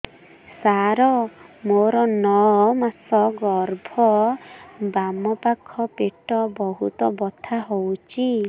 ସାର ମୋର ନଅ ମାସ ଗର୍ଭ ବାମପାଖ ପେଟ ବହୁତ ବଥା ହଉଚି